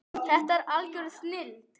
Þetta er algjör snilld.